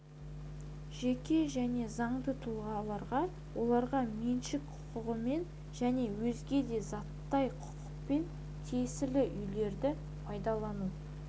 жеке және заңды тұлғаларға оларға меншік құқығымен және өзге де заттай құқықпен тиесілі үйлерді пайдалану